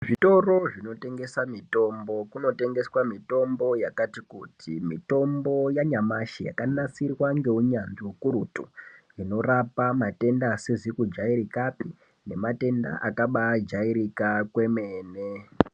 Zvitoro zvinotengese mitombo kunotengeswe mitombo yakati kuti mitombo yanyamashi yakanasirwa ngeunyanzvi ukurutu inorapa matenda asizi kujairikapi nematenda akabajairika kwemene.